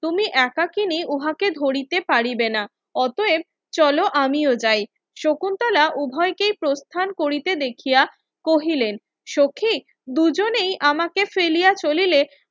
তুমি একাকিনী উহাকে ধরিতে পারিবেনা অতয়েব চলো আমিও যাই শকুন্তলা উভয়কে প্রস্থান করিতে দেখিয়া কহিলেন সখি দুজনেই আমাকে ফেলিয়া চলিলে